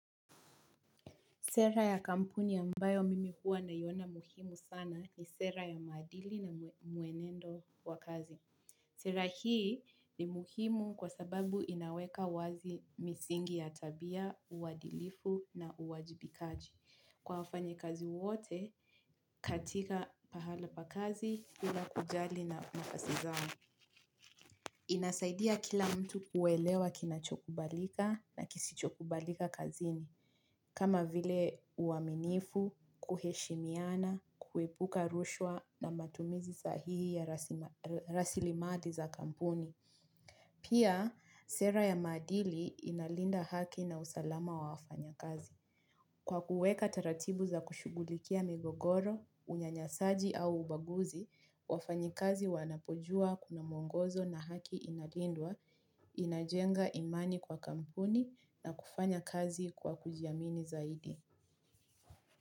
Sera ya kampuni ambayo mimi hua naiona muhimu sana, ni sera ya maadili na mwenendo wa kazi. Sera hii ni muhimu kwa sababu inaweka wazi misingi ya tabia, uadilifu na uwajibikaji. Kwa wafanya kazi wote, katika pahali pa kazi, bila kujali nafasi zao. Inasaidia kila mtu kuelewa kinachokubalika na kisichokubalika kazini. Kama vile uaminifu, kuheshimiana, kuepuka rushwa na matumizi sahihi ya rasilimali za kampuni. Pia, sera ya madili inalinda haki na usalama wa wafanya kazi. Kwa kuweka taratibu za kushughulikia migogoro, unyanyasaji au ubaguzi, wafanya kazi wanapujua kuna mwongozo na haki inalindwa, inajenga imani kwa kampuni na kufanya kazi kwa kujiamini zaidi.